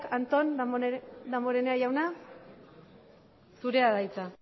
antón damborenea jauna zurea da hitza